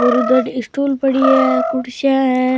और उधर स्टूल पड़ी है कुर्सियां है।